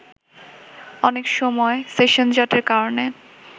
অনেক সময় সেশনজটের কারণে